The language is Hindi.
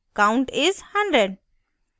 count is 100